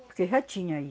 Porque já tinha aí.